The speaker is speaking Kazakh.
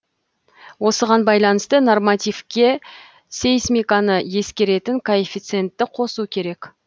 осыған байланысты нормативке сейсмиканы ескеретін коэффициентті қосу керек